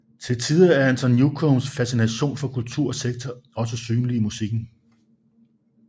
Til tider er Anton Newcombes fascination for kulter og sekter også synlig i musikken